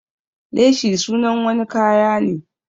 Leshi sunan wani kaya ne.